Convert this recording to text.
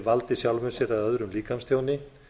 valdi sjálfum sér eða öðrum líkamstjóni